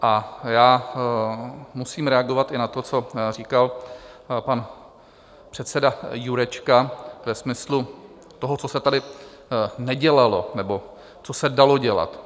A já musím reagovat i na to, co říkal pan předseda Jurečka ve smyslu toho, co se tady nedělalo nebo co se dalo dělat.